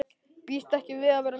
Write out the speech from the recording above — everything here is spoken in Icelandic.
Býst ekki við að verða mjög lengi.